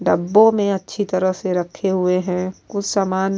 ڈببو مے اچھی طرح سے رکھے ہوئے ہے۔ کچھ سامان --